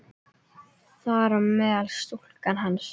Þar á meðal stúlkan hans.